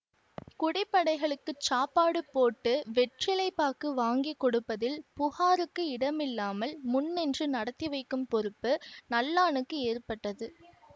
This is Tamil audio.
குடிபடைகளுக்குச் சாப்பாடு போட்டு வெற்றிலை பாக்கு வாங்கி கொடுப்பதில் புகாருக்கு இடமில்லாமல் முன்னின்று நடத்தி வைக்கும் பொறுப்பு நல்லானுக்கு ஏற்பட்டது